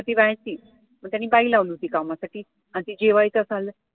मग ती पाहायची, मग त्यांनी बाई लावली होती कामासाठी आणि ते जेवायचं असं आलं